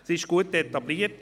Sie ist gut etabliert.